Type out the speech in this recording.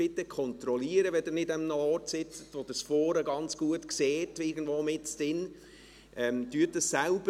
Bitte kontrollieren Sie dies, wenn Sie nicht an einem Ort sitzen, von wo aus Sie es vorne ganz gut sehen, sondern irgendwo mittendrin.